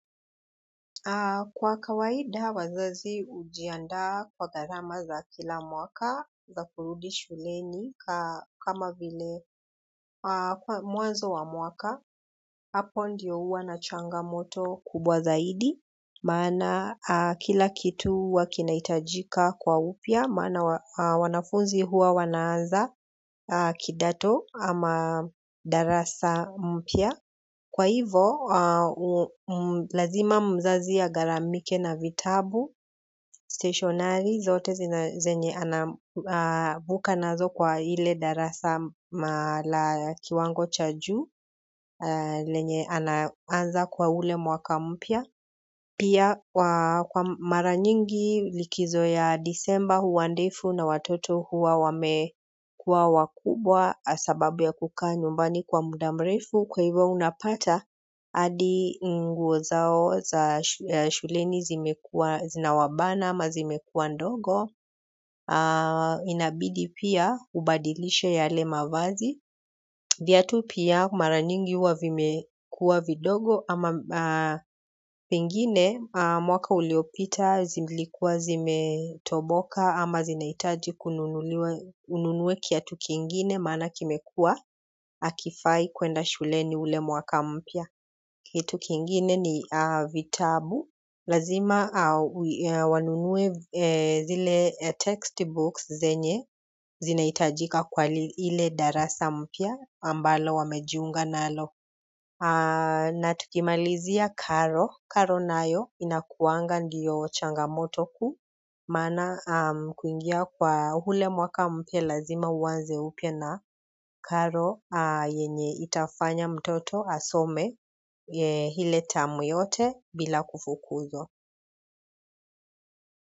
Kwa kawaida wazazi hujiandaa kwa gharama za kila mwaka za kurudi shuleni kama vile mwanzo wa mwaka hapo ndio huwa na changamoto kubwa zaidi maana kila kitu huwa kinahitajika kwa upya maana wanafunzi huwa wanaanza kidato ama darasa mpya. Kwa hivo, lazima mzazi agharamike na vitabu, stationari, zote zenye anavuka nazo kwa ile darasa la kiwango cha juu, lenye anaanza kwa ule mwaka mpya. Pia kwa mara nyingi likizo ya disemba huwa ndefu na watoto huwa wamekuwa wakubwa sababu ya kukaa nyumbani kwa muda mrefu kwa hivyo unapata hadi nguo zao za shuleni zina wabana ama zimekuwa ndogo inabidi pia ubadilishe yale mavazi. Viatu pia mara nyingi huwa vimekuwa vidogo ama pengine mwaka uliopita zilikuwa zimetoboka ama zinahitaji ununue kiatu kingine maana kimekuwa hakifai kuenda shuleni ule mwaka mpya kitu kingine ni vitabu, lazima wanunue zile text books zenye zinahitajika kwa ile darasa mpya ambalo wamejiunga nalo. Na tukimalizia karo karo nayo inakuanga ndio changamoto kuu maana kuingia kwa ule mwaka mpya lazima uanze upya na karo yenye itafanya mtoto asome ile tamu yote bila kufukuzwa.